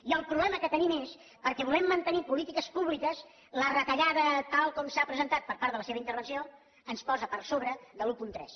i el problema que tenim és perquè volent mantenir polítiques públiques la retallada tal com s’ha presentat per part de la seva intervenció ens posa per sobre de l’un coma tres